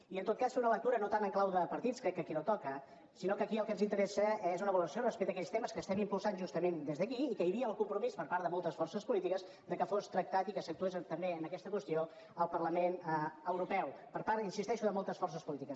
i en tot cas fer una lectura no tant en clau de partits que crec que aquí no toca sinó que aquí el que ens interessa és una valoració respecte a aquells temes que estem impulsant justament des d’aquí i que hi havia el compromís per part de moltes forces polítiques que fos tractat i que s’actués també en aquesta qüestió al parlament europeu per part hi insisteixo de moltes forces polítiques